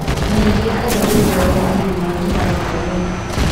Na ĩgĩkaga ũguo wega thĩinĩ wa kĩharo kĩa mĩri.